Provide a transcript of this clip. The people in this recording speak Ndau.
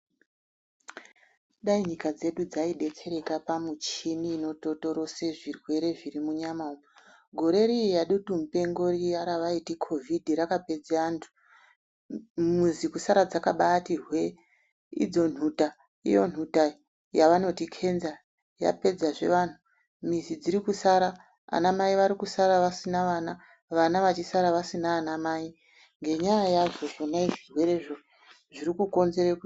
Dai nyika dzedu dzaidetsereka pamichini inototorese zvirwere zviri munyama umu. Gore riye redutumupengo riya ravaiti COVID rakapedza antu mizi kusara dzakaabati hwe. Idzo nhuta, iyo nhuta, yavanoti kenza, yapedzazve vanhu, mizi dziri kusara, ana amai vari kusara vasina vana, vana vachisara vasina ana amai ngenyaya yazvo zvona zvirwere zviri kukonzere.